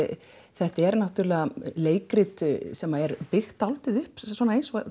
þetta er leikrit sem er byggt dálítið upp eins og